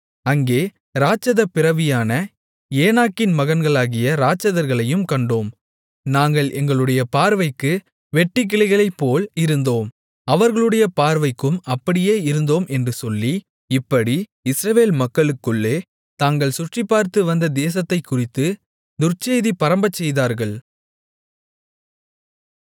அங்கே இராட்சதப் பிறவியான ஏனாக்கின் மகன்களாகிய இராட்சதர்களையும் கண்டோம் நாங்கள் எங்களுடைய பார்வைக்கு வெட்டுக்கிளிகளைப்போல் இருந்தோம் அவர்களுடைய பார்வைக்கும் அப்படியே இருந்தோம் என்று சொல்லி இப்படி இஸ்ரவேல் மக்களுக்குள்ளே தாங்கள் சுற்றிப்பார்த்து வந்த தேசத்தைக்குறித்து துர்ச்செய்தி பரம்பச்செய்தார்கள்